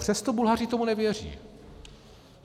Přesto Bulhaři tomu nevěří.